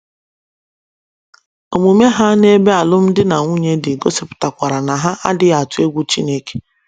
Omume ha n’ebe alụmdi na nwunye dị gosipụtakwara na ha adịghị atụ egwu Chineke.